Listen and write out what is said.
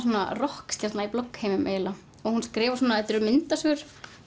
rokkstjarna í bloggheimum eiginlega hún skrifar svona þetta eru myndasögur